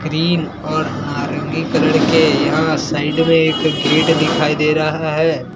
Cream और नारंगी colour के यहां साइड में एक गेट दिखाई दे रहा है।